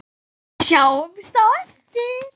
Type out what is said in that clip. Sjáumst á eftir